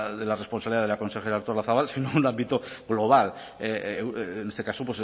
de la responsabilidad de la consejera artolazabal sino un ámbito global en este caso